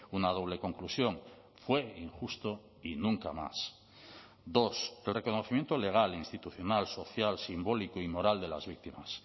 una doble conclusión fue injusto y nunca más dos reconocimiento legal e institucional social simbólico y moral de las víctimas